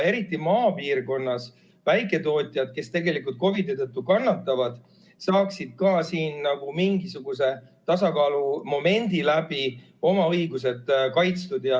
Eriti maapiirkonna väiketootjad, kes COVID-i tõttu kannatavad, saaksid ka mingisuguse tasakaalumomendi läbi oma õigused kaitstud.